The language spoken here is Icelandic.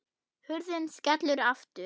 Hurðin skellur aftur.